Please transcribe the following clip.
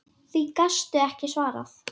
Því gastu ekki svarað.